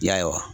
Ya